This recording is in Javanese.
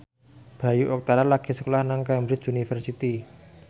Bayu Octara lagi sekolah nang Cambridge University